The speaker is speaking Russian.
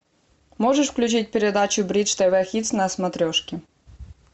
можешь включить передачу бридж тв хитс на смотрешке